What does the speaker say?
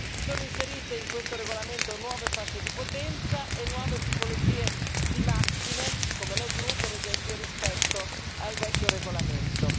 Si sono inserite in questo regolamento nuove fasce di potenza e nuove tipologie di macchine come le gru, per esempio rispetto al vecchio regolamento.